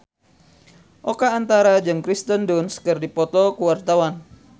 Oka Antara jeung Kirsten Dunst keur dipoto ku wartawan